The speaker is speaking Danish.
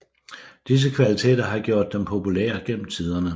Disse kvaliteter har gjort dem populære gennem tiderne